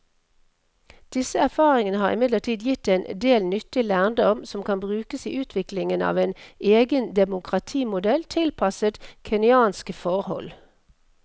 Disse erfaringene har imidlertid gitt en del nyttig lærdom som kan brukes i utviklingen av en egen demokratimodell tilpasset kenyanske forhold.